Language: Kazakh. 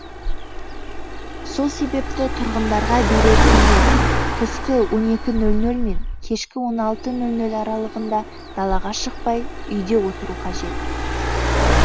сол себепті тұрғындарға берер кеңес түскі он екі нөл нөлмен мен кешкі он алты нөл нөл аралығында далаға шықпай үйде отыру қажет